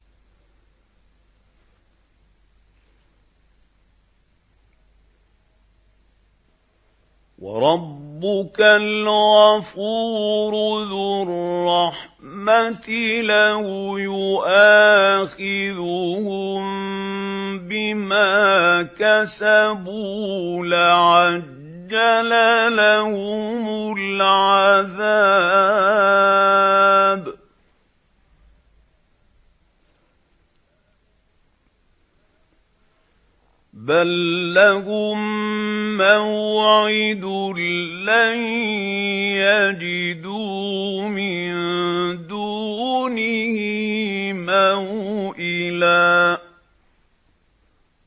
وَرَبُّكَ الْغَفُورُ ذُو الرَّحْمَةِ ۖ لَوْ يُؤَاخِذُهُم بِمَا كَسَبُوا لَعَجَّلَ لَهُمُ الْعَذَابَ ۚ بَل لَّهُم مَّوْعِدٌ لَّن يَجِدُوا مِن دُونِهِ مَوْئِلًا